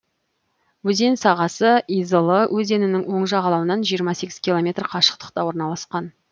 өзен сағасы изылы өзенінің оң жағалауынан жиырма сегіз километр қашықтықта орналасқан